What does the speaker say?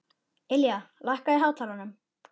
Ylja, lækkaðu í hátalaranum.